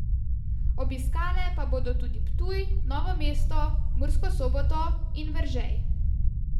Obiskale pa bodo tudi Ptuj, Novo mesto, Mursko Soboto in Veržej.